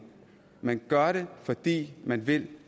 man gør det fordi man vil